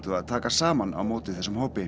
að taka saman á móti þessum hópi